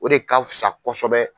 O de ka fusa kosɛbɛ.